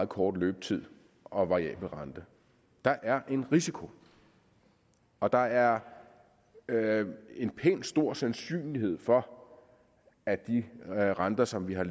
kort løbetid og variabel rente der er en risiko og der er en pænt stor sandsynlighed for at de renter som vi har